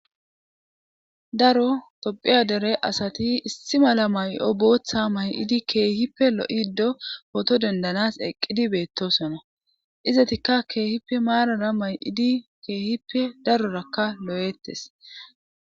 daro tophiya dere asati issi mala may7o booththa may7idi keehippe lo7ido poto dendanas eqqidi beettosona izatikka keehippe maarara may7idi keehippe darorakka lo7eettes